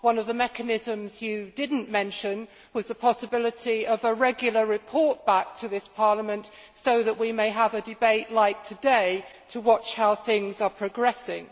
One of the mechanisms you did not mention was the possibility of a regular report back to this Parliament so that we may have a debate like today to watch how things are progressing.